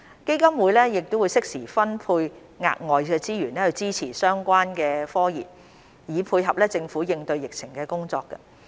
基金會適時分配額外資源支持相關科研，以配合政府應對疫情的工作。